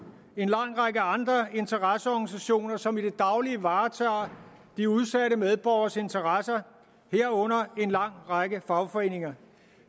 en lang række andre interesseorganisationer som i det daglige varetager de udsatte medborgeres interesser herunder en lang række fagforeninger